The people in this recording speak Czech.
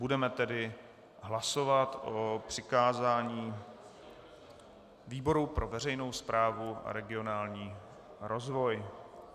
Budeme tedy hlasovat o přikázání výboru pro veřejnou správu a regionální rozvoj.